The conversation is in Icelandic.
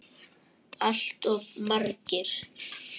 Allt of margir.